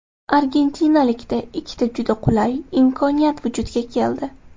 Argentinalikda ikkita juda qulay imkoniyat vujudga keldi.